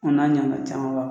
O n'a ɲana camanba